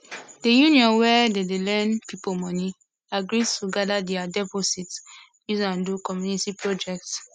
the union wey dey dey lend people money agree to gather their deposit use am do community project